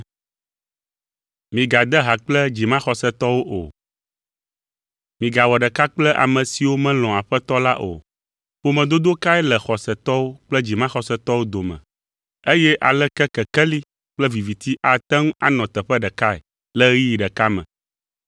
Migawɔ ɖeka kple ame siwo melɔ̃a Aƒetɔ la o. Ƒomedodo kae le xɔsetɔwo kple dzimaxɔsetɔwo dome? Eye aleke kekeli kple viviti ate ŋu anɔ teƒe ɖekae le ɣeyiɣi ɖeka me?